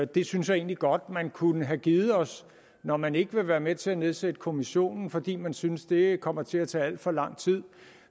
det synes jeg egentlig godt man kunne have givet os når man ikke vil være med til at nedsætte kommissionen fordi man synes det kommer til at tage alt for lang tid